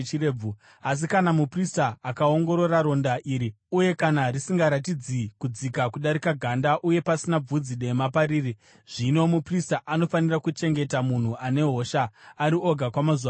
Asi kana muprista akaongorora ronda iri uye kana risingaratidzi kudzika kudarika ganda uye pasina bvudzi dema pariri, zvino muprista anofanira kuchengeta munhu ane hosha ari oga kwamazuva manomwe.